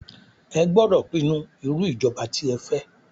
Ẹ gbódọ̀ pinnu irú ìjọba tí ẹ fẹ́!